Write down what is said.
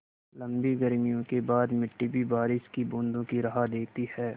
लम्बी गर्मियों के बाद मिट्टी भी बारिश की बूँदों की राह देखती है